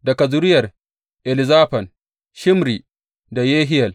Daga zuriyar Elizafan, Shimri da Yehiyel.